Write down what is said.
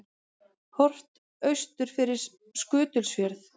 Horft austur yfir Skutulsfjörð.